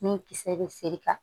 Min kisɛ bɛ feere ka